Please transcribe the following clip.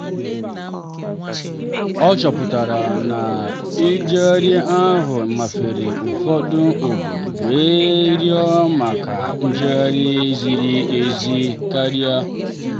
ọ chọpụtara na njegharị ahụ mafere ụfọdụ obodo wee rịọ maka njegharị ziri ezi karịa.